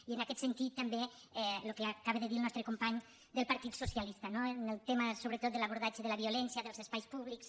i en aquest sentit també el que acaba de dir el nostre company del partit socialista no en el tema sobretot de l’abordatge de la violència dels espais públics